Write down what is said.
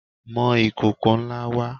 Mọ ìkòkò ńlá wá!